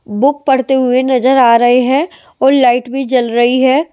Book पढ़ते हुए नजर आ रहे हैं और लाइट भी जल रही है ।